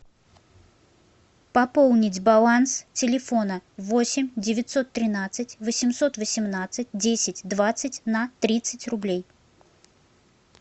пополнить баланс телефона восемь девятьсот тринадцать восемьсот восемнадцать десять двадцать на тридцать рублей